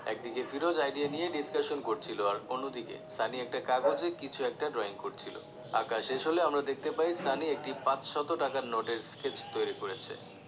এক দিকে ফিরোজ idea নিয়ে discussion করছিলো অন্যদিকে সানি একটা কাগজে কিছু একটা drawing করছিলো আঁকা শেষ হলে আমরা দেখতে পাই সানি একটি পাঁচশত টাকা নোটের sketch তৈরি করেছে